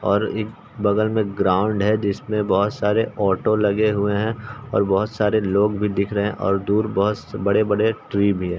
और एक बगल में ग्राउंड हैं जिसमे बहोत सारे ऑटो लगें हुए हैं और बहोत सारे लोग भी दिख रहें हैं और दूर बहोत बड़े-बड़े ट्री भी हैं।